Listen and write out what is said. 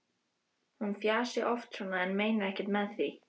Hún fjasi oft svona en meini ekkert með því.